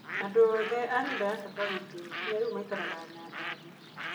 Andũ othe a nyũmba ya baba witũ nginya rĩu maikaraga Nyandarũa.